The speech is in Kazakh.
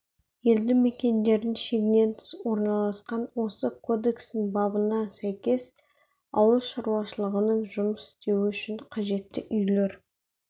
елді мекендердің шегінен тыс орналасқан осы кодекстің бабына сәйкес ауыл шаруашылығының жұмыс істеуі үшін қажетті үйлер